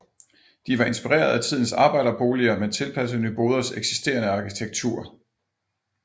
De var inspireret af tidens arbejderboliger men tilpasset Nyboders eksisterende arkitektur